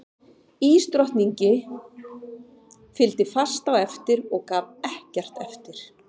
Ísdrottningi fylgdi fast á eftir og gaf ekkert eftir.